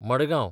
Madgaon